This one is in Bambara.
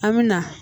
An mi na